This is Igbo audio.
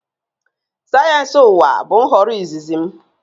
Sayensị ụwa bụ nhọrọ izizi m